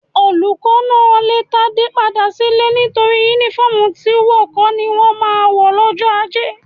Olùkọ́ náà lè Tádé padà sílé nítorí Únífọ́ọ̀mù tí wọ̀ kọ́ ni wọ́n máa ń wọ̀ lọ́jọ́ ajé